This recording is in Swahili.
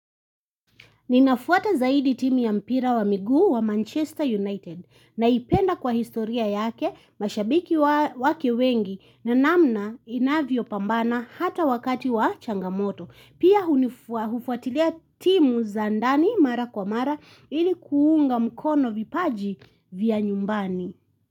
Ninafuata zaidi timu ya mpira wa miguu wa Manchester United na ipenda kwa historia yake mashabiki wa wake wengi na namna inavyo pambana hata wakati wa changamoto. Pia hunifua hufuatilia timu za ndani mara kwa mara ilikuunga mkono vipaji vya nyumbani.